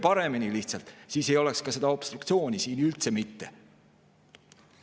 Juhtige lihtsalt paremini, siis ei oleks ka seda obstruktsiooni siin üldse mitte.